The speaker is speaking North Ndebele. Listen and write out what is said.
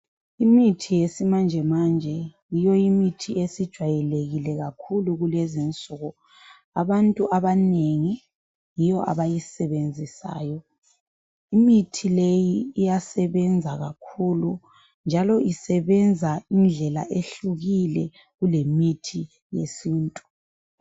Imithi yesimanje manje yiyo imithi esijwayelekile kakhulu kulezi insuku, abantu abanengi yiyo abayisebenzisayo , imithi leyi iyasebenza kakhulu njalo isebenza indlela ehlukile kulemithi yesintu